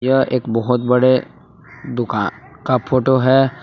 यह एक बहुत बड़े दुकान का फोटो है।